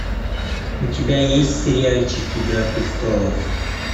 у тебя есть сериальчик игра престолов